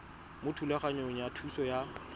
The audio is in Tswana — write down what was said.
mo thulaganyong ya thuso y